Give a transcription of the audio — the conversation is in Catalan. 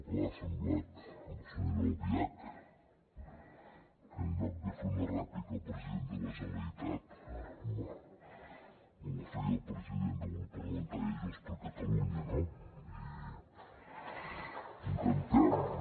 clar ha semblat la senyora albiach que en lloc de fer una rèplica al president de la generalitat me la feia al president del grup parlamentari de junts per catalunya no i veus